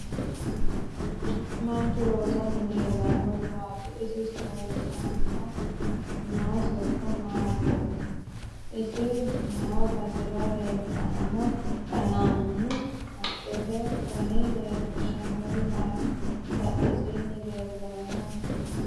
Manichu loosani leelanori maati isi sayiisanni noo sokka hiitoote isi noo basera leeltanno qalaqamu haqqete dani leelishanori maati badhesiini leelanno mini hiitooho